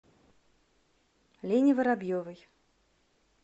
лене воробьевой